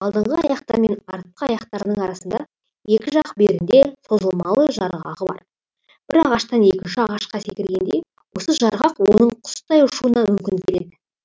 алдыңғы аяқтары мен артқы аяқтарының арасында екі жақ бүйірінде созылмалы жарғағы бар бір ағаштан екінші ағашқа секіргенде осы жарғақ оның құстай ұшуына мүмкіндік береді